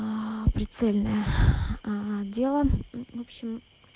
прицельная дело в общем